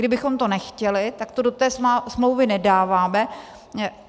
Kdybychom to nechtěli, tak to do té smlouvy nedáváme.